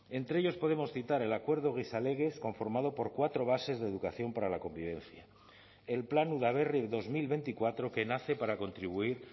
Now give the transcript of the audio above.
entre ellos podemos citar el acuerdo gizalegez conformado por cuatro bases de educación para la convivencia el plan udaberri dos mil veinticuatro que nace para contribuir